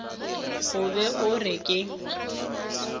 o be o re ke